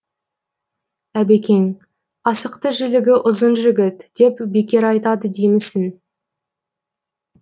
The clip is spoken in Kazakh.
әбекең асықты жілігі ұзын жігіт деп бекер айтады деймісің